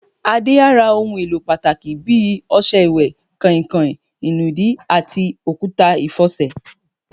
Adé á ra ohun èlò pàtàkì bí i o̩s̩e̩ ìwè̩, kàìnkàìn, ìnùdí, àti òkúta ìfo̩sè̩.